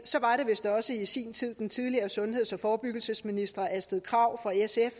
var det vist også i sin tid den tidligere sundheds og forebyggelsesminister astrid krag fra sf